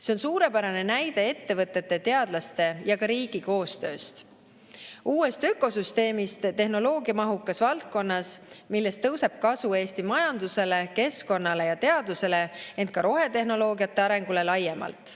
See on suurepärane näide ettevõtete, teadlaste ja ka riigi koostööst, uuest ökosüsteemist tehnoloogiamahukas valdkonnas, millest tõuseb kasu Eesti majandusele, keskkonnale ja teadusele, ent ka rohetehnoloogiate arengule laiemalt.